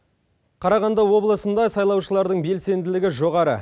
қарағанды облысында сайлаушылардың белсенділігі жоғары